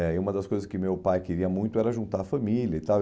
É, e uma das coisas que meu pai queria muito era juntar a família e tal.